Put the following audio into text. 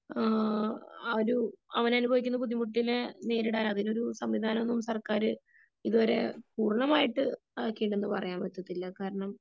ആ ഒരു അവൻ അനുഭവിക്കുന്ന ബുദ്ധിമുട്ടിനെ നേരിടാൻ അതിനൊരു സംവിധാനം ഒന്നും സർക്കാര് ഇതുവരെ പൂരണമായിട്ട് ആക്കിയിട്ടെന്ന് റയാൻ പറ്റില്ല കാരണം